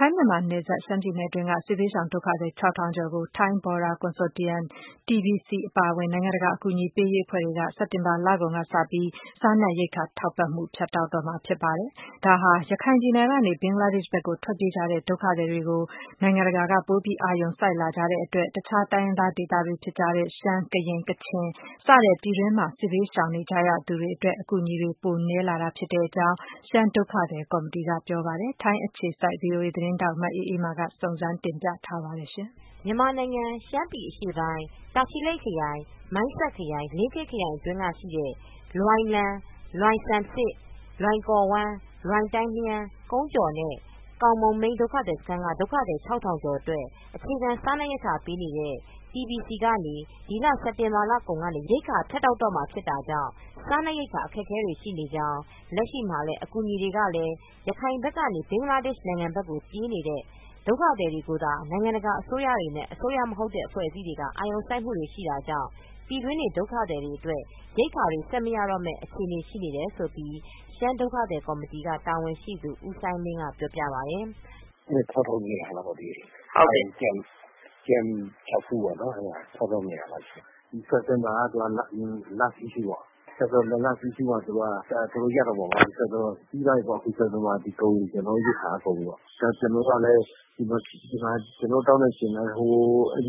ထိုင်းမြန်မာနယ်စပ်မှာ သျှမ်းပြည်နယ်က ထွက်ပြေးလာတဲ့ စစ်ဘေးရှောင်ဒုက္ခသည် ၆၂၀၀ ကျော်ကို Thai Burma Border Consortium-TBBC အပါအဝင် နိုင်ငံတကာ အကူပေးရေးအဖွဲ့တွေက စက်တင်ဘာ လကုန်ကစပြီး စားနတ်ရိက္ခာ ဖြတ်တောက်တော့မှာ ဖြစ်တဲ့အတွက် အခက်အခဲတွေ ရှိနေတယ်လို့ ဒုက္ခသည်တွေက ဆိုပါတယ်။ လက်ရှိမှာ ရခိုင်ပြည်နယ်အတွင်းကနေ ဘင်္ဂလားဒေ့ရှ်ကို ပြေးလားတဲ့ ဒုက္ခသည်တွေကို အာရုံစိုက်မှု ပိုများလာတဲ့အတွက် သျှမ်း ကရင် ကချင်စတဲ့ ဒေသတွေက စစ်ဘေးရှောင် ဒုက္ခသည်တွေအတွက် အကူညီတွေ ပိုနည်းလာနေတယ်လို့ ရှမ်းဒုက္ခသည်ကော်မတီက ဆိုပါတယ်။ VOA သတင်းထောက် မအေးအေးမာ သတင်းပေးပို့ ထားတာပါ။ မြန်မာနိုင်ငံ သျှမ်းပြည်အရှေ့ပိုင်း တာချီလိတ်ခရိုင် ၊ မိုင်းဆတ်ခရိုင် လင်းခေးခရိုင်အတွင်း လွိုင်လမ်၊ လွိုင်ဆမ်ဆစ်၊ လွိုင်ကော်ဝမ်း၊ လွိုင်တိုင်းလျဲန်း၊ ကုန်းကျော်နဲ့ ကောင်းမုန့်မိန်း ဒုက္ခသည်စခန်းတွေက ဒုက္ခသည် ၆ ထောင်ကျော်အတွက် အခြေခံ စားနပ်ရိက္ခာ ပေးနေတဲ့ TBBC ကနေ ဒီလ စက်တင်ဘာလကုန်ကနေ ရိက္ခာဖြတ်တောက်တော့မှာ ဖြစ်တာကြောင့်စားနပ်ရိက္ခာ အခက်အခဲတွေရှိနေကြောင်း လက်ရှိမှာ အကူညီေတွေကလဲ ရခိုင်ဘက်ကနေ ဘင်္ဂလားဒေ့ရှ်ဘက်ကို ပြေးလာတဲ့ ဒုက္ခသည်တွေကိုသာ နိုင်ငံတကာ အစိုးရတွေနဲ့ အစိုးရ မဟုတ်တဲ့ အဖွဲ့အစည်းတွေက အာရုံစိုက်မှုရှိတာကြောင့် ပြည်တွင်းနေ ဒုက္ခသည်အတွက် ရိက္ခာ ဆက်မရတော့မယ့် အခြေအနေမှာ ရှိနေတယ်လို့ ရှမ်းဒုက္ခသည်ကော်မတီ တာဝန်ရှိသူ ဦးစိုင်းလင်းက ပြောပြပါတယ်။ "၆၂၀၀ လောက်ပေါ့။ ကမ့် ခြောက်ခုကပေါ့နော်- ၆၂၀၀ လောက်ရှိပါတယ်။ စက်တင်ဘာက last issue ပေါ့။ စက်တင်ဘာလ issue မှာ သူက အကုန်လုံးရပ်မှာပေါ့နော်။ စက်တင်ဘာကုန်ရင် ကျနော်တို့ ရိက္ခာက ကုန်ပြီပေါ့။ ကျနော်တို့ တောင်းတဲ့အချိန်မှာက ဘင်္ဂလီကိစ္စကလည်း ဘင်္ဂလားဒေ့ရှ်မှာ အဲ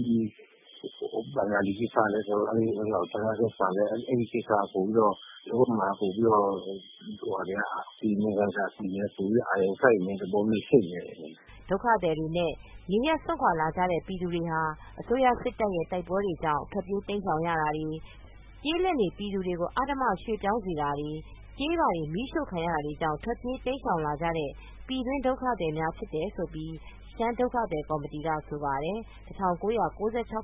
ဒီကိစ္စက ပိုပြီးတော့ နိုင်ငံတကာအကူအညီက ပိုပြီးတော့ အာရုံစိုက်နေတဲ့ သဘောမျိုး ဖြစ်နေတယ်။" ဒုက္ခသည်တွေနဲ့ နေရပ်စွန့်ခွာနေကြတဲ့ ပြည်သူတွေဟာ အစိုးရစစ်တပ်ရဲ့တိုက်ပွဲကြောင့် ထွက်ပြေးတိမ်းရှောင်ရခြင်း ကျေးလက်နေ ပြည်သူတွေကို အဓမ္မရွှေ့ပြောင်းစေတာတွေ ကျေးရွာတွေ မီးရှို့ခံရတာတွေကြောင့် ထွက်ပြေးတိမ်းရှောင်လာကြတဲ့ ပြည်တွင်းနေ ဒုက္ခသည်များ ဖြစ်တယ်လို့ ရှမ်းဒုက္ခသည်ကော်မတီက ဆိုပါတယ်။ ၁၉၉၆ ကနေ ၁၉၉၈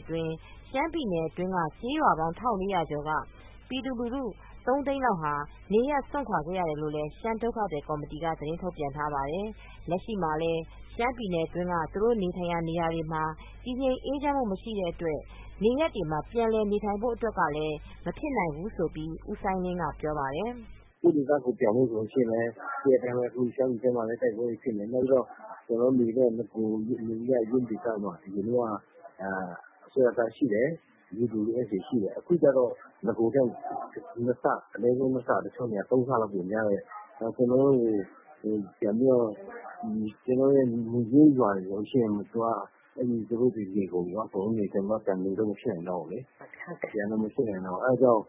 အတွင်း ရှမ်းပြည်နယ်တွင်းက သျှမ်းကျေးရွာပေါင်း ၁၄၀၀ ကျော်က ပြည်သူလူထု ၃ သိန်းလောက် နေရပ်စွန့်ခွာခဲ့ရတယ်လို့ သျှမ်းဒုက္ခသည်ကော်မတီက သတင်းထုတ်ပြန်ထားပါတယ်။ လက်ရှိမှာလဲ သျှမ်းပြည်နယ်တွင်းက သူတို့နေထိုင်ရာ နေရာတွေမှာ တည်ငြိမ်အေးချမ်းမူ မရှိတဲ့အတွက် သူတို့နေရပ်မှာ ပြန်နေဖို့အတွက် မဖြစ်နိုင်ဘူးလို့လည်း ဦးစိုင်းလင်းက ပြောပါတယ်။ "ကိုယ့်ဒေသကိုယ် ပြန်ဖို့ဆိုလို့ရှိရင်လည်း ရှမ်းပြည်ဘက်မှာကလည်း တိုက်ပွဲတွေဖြစ်နေတယ်။ ပြီးတော့ ကျနော်တို့နေတဲ့ နေရပ်ရင်း ဒေသမှာက အစိုးရတပ်ကလည်း ရှိတယ်။ UWSA ရှိတယ်။ အခုကျတော့ နဂိုရ်ထက် နှစ်ဆ အနည်းဆုံးနှစ်ဆ၊ တချို့နေရာတွေမှာ သုံးဆလောက်များတယ်။ ကျနော်တို့ နေရင်းရွာတွေ ပြန်ပြီးတော့ နေမယ်ဆိုလို့ရှိရင် သူတို့တွေ နေကုန်ပြီကော။ ကျနော်တို့ ပြန်နေဖို့ မဖြစ်နိုင်တော့ဘူး။ ပြန်လို့ မဖြစ်နိုင်တော့ဘူး။ အဲဒါကြောင့်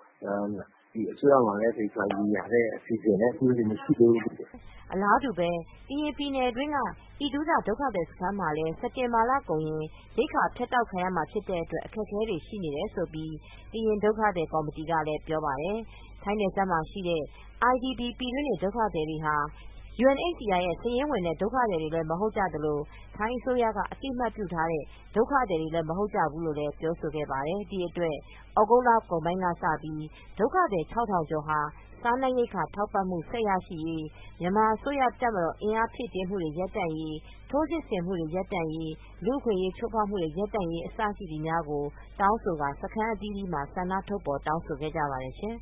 အစိုးရမှာလည်း သေချာရေရာတဲ့ အစီအစဉ်လည်း အခုထိ မရှိသေးဘူး။" အလားတူးပဲ ကရင်ပြည်နယ်တွင်းက အိဒူထ ဒုက္ခသည်စခန်းမှာလည်း စက်တင်ဘာ လကုန်က အခုလို ရိက္ခာဖြတ်တောက် ခံရမှာ ဖြစ်တဲ့အတွက် အခက်အခဲတွေ ရှိတယ်လို့ကရင်ဒုက္ခသည်ကော်မတီကပြောပါတယ်။ ထိုင်းနယ်စပ်မှာရှိနေတဲ့ IDP ပြည်တွင်းနေ ဒုက္ခသည်တွေဟာ UNHCR ရဲ့စာရင်းဝင် ဒုက္ခသည်တွေလည်း မဟုတ်သလို ထိုင်းအစိုးရ အသိမှတ်ပြုထားတဲ့ ဒုက္ခသည်တွေလည်း မဟုတ်ကြဘူးလို့းဆိုပါတယ်။ ဒီအတွက် သြဂုတ်လကုန်ပိုင်းကပဲ ဒုက္ခသည် ၆၀၀၀ ကျော်က စားနပ်ရိက္ခာ ထောက်ပံ့မှု ဆက်ရရှိရေး၊ မြန်မာအစိုးရ တပ်မတော် အင်အားဖြည့်တင်းမှု ရပ်တန့်ရေး၊ ထိုးစစ်ဆင်နေမှု ရပ်တန့်ရေး၊ လူ့အခွင့်အရေး ချိုးဖေါက်မှုများ ရပ်တန့်ရေး အစရှိတာတွေ တောင်းဆိုကာ စခန်းအသီးသီးမှာ ဆန္ဒထုတ်ဖော် တောင်းဆိုခဲ့ပါတယ်ရှင်